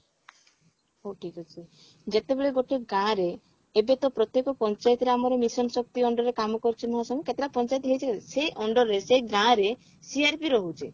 ହଉ ଠିକ ଅଛି ଯେତେବେଳେ ଗୋଟେ ଗାଁରେ ଏବେ ତ ପ୍ରତ୍ୟକ ପାଞ୍ଚାୟତରେ ଆମର mission ଶକ୍ତି under ରେ କାମ କରୁଛନ୍ତି କେତେଟା ପାଞ୍ଚାୟତ ହେଇଛି ସେ under ରେ ସେ ଗାଁରେ CRP ରହୁଛି